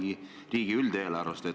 Või tuleb see riigi üldisest eelarvest?